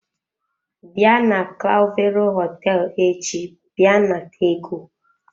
Bịa na clavero hoteelu echi bia nata ego.